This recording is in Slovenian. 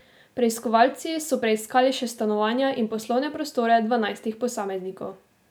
Preiskovalci so preiskali še stanovanja in poslovne prostore dvanajstih posameznikov.